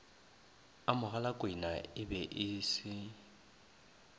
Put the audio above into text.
a mogalakwenae be e se